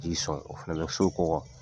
Ji sɔn o fɛnɛ bɛ so kɔɔgɔ